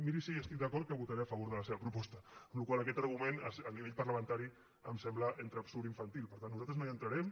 miri si hi estic d’acord que votaré a favor de la seva proposta amb la qual cosa aquest argument a nivell parlamentari em sembla entre absurd i infantil per tant nosaltres no hi entrarem